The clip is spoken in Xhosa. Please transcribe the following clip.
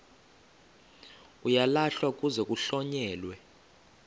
uyalahlwa kuze kuhlonyelwe